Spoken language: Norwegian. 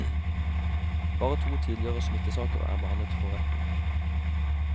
Bare to tidligere smittesaker er behandlet for retten.